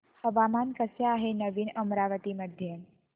हवामान कसे आहे नवीन अमरावती मध्ये